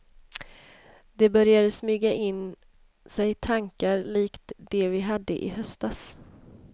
Det började smyga in sig tankar likt de vi hade i höstas.